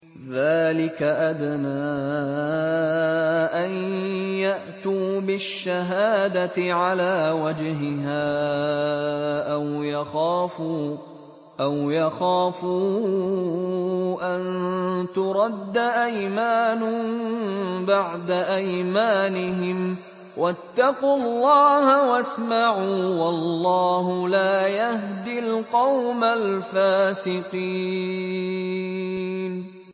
ذَٰلِكَ أَدْنَىٰ أَن يَأْتُوا بِالشَّهَادَةِ عَلَىٰ وَجْهِهَا أَوْ يَخَافُوا أَن تُرَدَّ أَيْمَانٌ بَعْدَ أَيْمَانِهِمْ ۗ وَاتَّقُوا اللَّهَ وَاسْمَعُوا ۗ وَاللَّهُ لَا يَهْدِي الْقَوْمَ الْفَاسِقِينَ